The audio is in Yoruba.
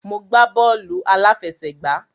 Mo gbá bọ́ọ̀lù àláfẹsẹ̀gbá.